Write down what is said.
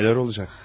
Nələr olacaq?